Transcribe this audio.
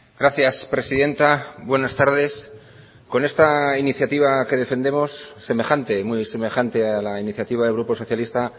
gracias presidenta buenas tardes con esta iniciativa que defendemos semejante muy semejante a la iniciativa del grupo socialista